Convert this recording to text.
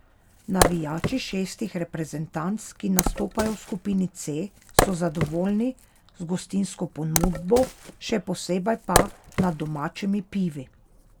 Navijači šestih reprezentanc, ki nastopajo v skupini C, so zadovoljni z gostinsko ponudbo, še posebej pa nad domačimi pivi.